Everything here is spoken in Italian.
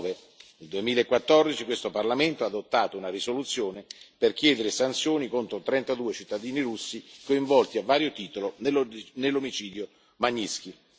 2009. Nel 2014 questo Parlamento ha adottato una risoluzione per chiedere sanzioni contro trentadue cittadini russi coinvolti a vario titolo nell'omicidio Magnitskij.